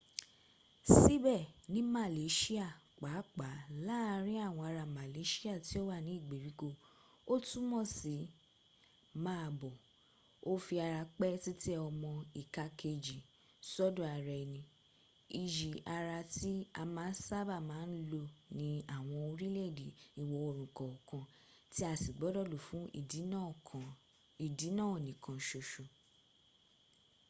síbẹ̀ ní malaysia pàápàá láàárin àwọn ará malaysia tí ó wà ní ìgbèríko ó túnmọ̀ sí máa bọ̀” ó fi ara pẹ́ títẹ ọmọ ìka kèejì sọ́dọ̀ ara ẹni iyi ara tí a sábà máa ń lò ní àwọn orílẹ̀-èdè ìwò-oòrùn kọ̀ọ̀kan tí a sì gbọdọ̀ lò fún ìdí náà nìkan ṣoṣọ